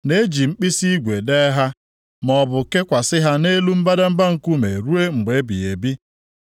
na e ji mkpisi igwe dee ha, maọbụ kakwasị ha nʼelu mbadamba nkume ruo mgbe ebighị ebi.